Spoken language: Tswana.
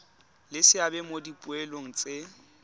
le seabe mo dipoelong tse